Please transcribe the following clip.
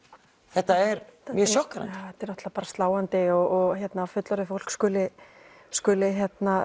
þetta er mjög sjokkerandi þetta er náttúrulega sláandi og að fullorðið fólk skuli skuli